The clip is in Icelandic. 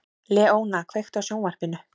Leóna, kveiktu á sjónvarpinu.